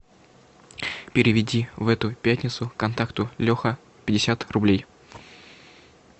переведи в эту пятницу контакту леха пятьдесят рублей